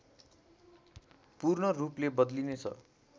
पूर्णरूपले बदलिनेछ